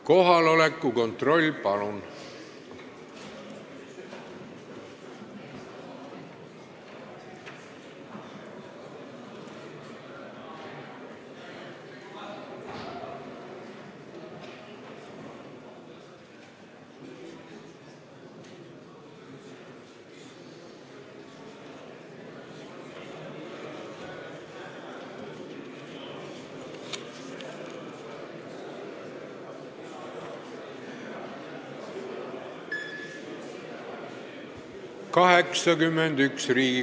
Kohaloleku kontroll, palun!